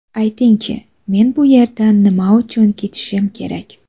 Ayting-chi, men bu yerdan nima uchun ketishim kerak?